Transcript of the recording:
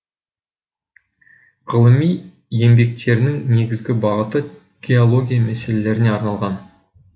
ғылыми еңбектерінің негізгі бағыты геология мәселелеріне арналған